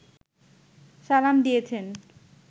সালাম দিয়েছেন